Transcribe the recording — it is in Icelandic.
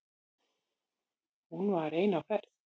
Hún var ein á ferð.